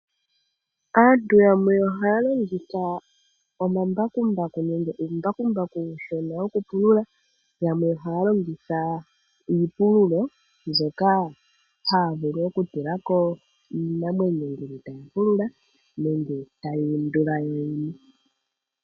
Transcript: Aantu yamwe ohaya longitha omambakumbaku nenge uumbakumbaku uushona wokupulula. Yamwe ohaya longitha iipululo, mbyono haya vulu okutulako iinamwenyo etayi pulula, nenge tayi undula yooyene.